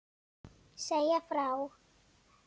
Segja frá.